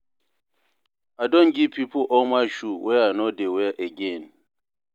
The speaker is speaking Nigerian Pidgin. I don give pipo all my shoe wey I no dey wear again.